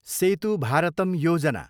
सेतु भारतम योजना